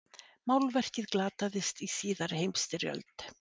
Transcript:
Málverkið glataðist í síðari heimsstyrjöld.